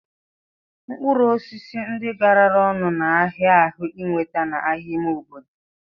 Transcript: Mkpụrụ osisi ndi garara ọnụ n'ahia ahu iweta n'ahia ime obodo